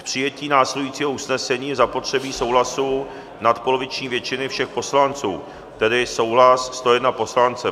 K přijetí následujícího usnesení je zapotřebí souhlasu nadpoloviční většiny všech poslanců, tedy souhlas 101 poslance.